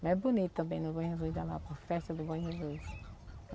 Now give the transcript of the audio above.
Mas é bonito também no Bom Jesus da Lapa, a festa do Bom Jesus.